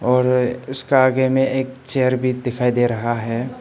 और उसका आगे में एक चेयर भी दिखाई दे रहा है।